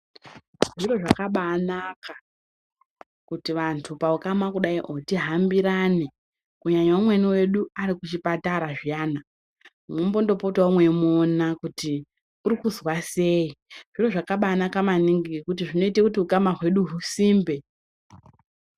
Zviro zvakabaanaka kuti vantu paukama kudai kuti tihambirane, kunyanyanya mumwe wedu arikuchipatara zviyana mombopota mweimuona kuti urikuzwa sei, uye zvakabaanaka maningi ngekuti zvinoita kuti ukama hwedu husimbe.